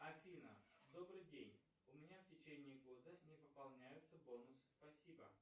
афина добрый день у меня в течение года не пополняются бонусы спасибо